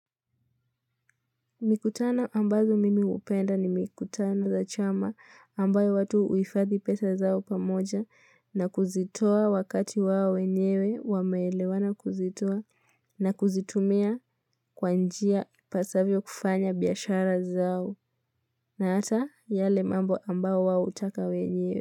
Mikutano ambazo mimi hupenda ni mikutano za chama ambayo watu huifadhi pesa zao pamoja na kuzitoa wakati wao wenyewe wameelewana kuzitoa na kuzitumia kwa njia pasavyo kufanya biashara zao na hata yale mambo ambao wao hutaka wenyewe.